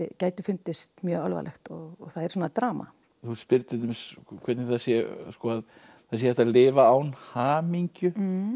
gæti fundist mjög alvarlegt og það er svona drama þú spyrð til dæmis hvernig það sé það sé hægt að lifa án hamingju